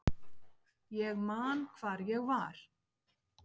Ég man hvar ég var.